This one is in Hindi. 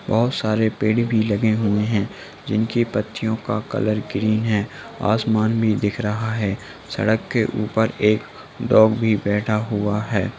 बहुत सारे पेड़ भी लगे हुए हैं जिनकी पत्तियों का कलर ग्रीन है आसमान भी दिख रहा है | सड़क के ऊपर एक डॉग भी बैठा हुआ है।